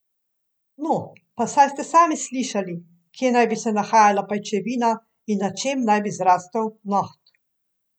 No, pa saj ste sami slišali, kje naj bi se nahajala pajčevina in na čem naj bi zrastel noht.